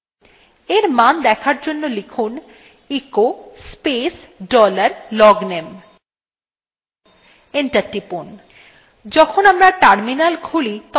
in মান দেখার জন্য লিখুন echo space dollar logname enter টিপুন